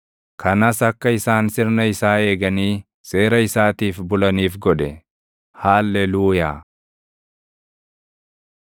kanas akka isaan sirna isaa eeganii seera isaatiif bulaniif godhe. Haalleluuyaa.